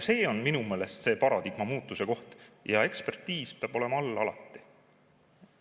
See on minu meelest see paradigma muutuse koht ja ekspertiis peab all olema alati.